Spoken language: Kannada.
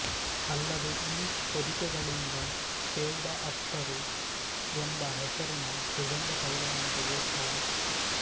ಅಲ್ಲದೆ ಈ ಹೊದಿಕೆಗಳಿಂದ ಕೆವ್ಡ ಅತ್ತರು ಎಂಬ ಹೆಸರಿನ ಸುಗಂಧ ತೈಲವನ್ನು ತೆಗೆಯುತ್ತಾರೆ